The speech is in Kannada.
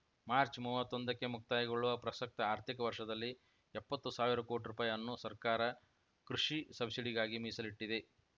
ಮಾರ್ಚ್ಮೂವತ್ತೊಂದಕ್ಕೆ ಮುಕ್ತಾಯಗೊಳ್ಳುವ ಪ್ರಸಕ್ತ ಆರ್ಥಿಕ ವರ್ಷದಲ್ಲಿ ಎಪತ್ತು ಸಾವಿರ ಕೋಟಿ ರುಪಾಯಿ ಅನ್ನು ಸರ್ಕಾರ ಕೃಷಿ ಸಬ್ಸಿಡಿಗಾಗಿ ಮೀಸಲಿಟ್ಟಿದೆ